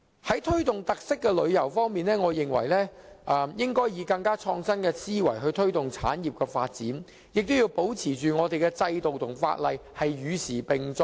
在推動特色旅遊方面，我認為當局應以更創新的思維推動產業發展，亦要保持我們的制度和法例與時並進。